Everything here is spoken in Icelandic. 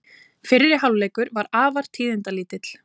Fyrri hálfleikurinn var afar tíðindalítill.